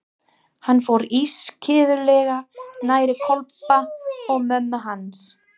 Hann fór ískyggilega nærri Kobba og mömmu hans.